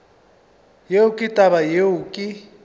yeo ke taba yeo ke